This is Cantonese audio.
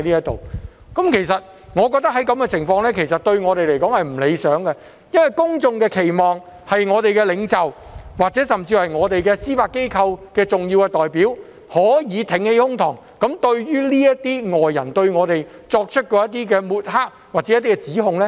對我們而言，這種情況並不理想，因為公眾的期望是，我們的領袖，甚至司法機構的重要代表，可以挺起胸膛嚴正駁斥外人的抹黑或指控。